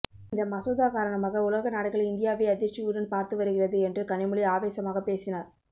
இந்த மசோதா காரணமாக உலக நாடுகள் இந்தியாவை அதிர்ச்சியுடன் பார்த்து வருகிறது என்று கனிமொழி ஆவேசமாக பேசினார்